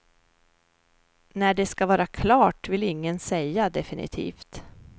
När det ska vara klart, vill ingen säga definitivt.